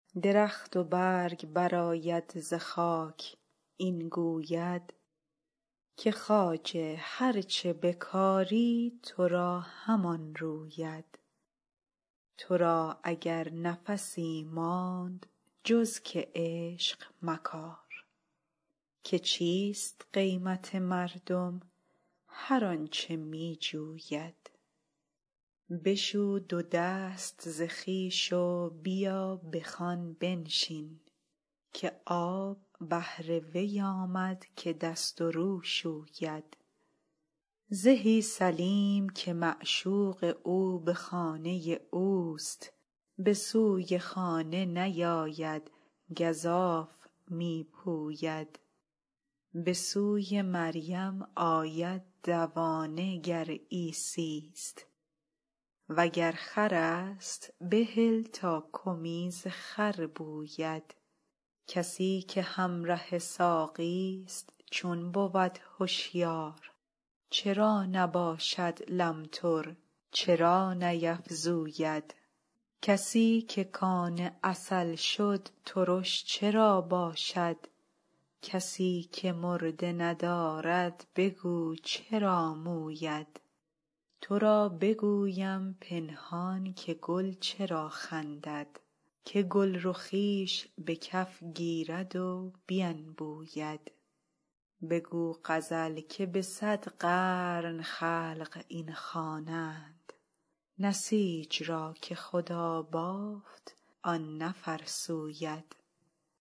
درخت و برگ برآید ز خاک این گوید که خواجه هر چه بکاری تو را همان روید تو را اگر نفسی ماند جز که عشق مکار که چیست قیمت مردم هر آنچ می جوید بشو دو دست ز خویش و بیا به خوان بنشین که آب بهر وی آمد که دست و رو شوید زهی سلیم که معشوق او به خانه اوست به سوی خانه نیاید گزاف می پوید به سوی مریم آید دوانه گر عیسی ست وگر خر است بهل تا کمیز خر بوید کسی که همره ساقی ست چون بود هشیار چرا نباشد لمتر چرا نیفزوید کسی که کان عسل شد ترش چرا باشد کسی که مرده ندارد بگو چرا موید تو را بگویم پنهان که گل چرا خندد که گلرخیش به کف گیرد و بینبوید بگو غزل که به صد قرن خلق این خوانند نسیج را که خدا بافت آن نفرسوید